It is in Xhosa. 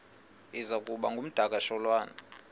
iza kuba ngumdakasholwana